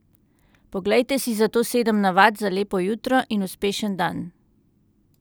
Poglejte si zato sedem navad za lepo jutro in uspešen dan.